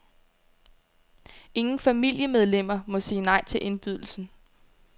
Ingen familiemedlemmer må sige nej til indbydelsen.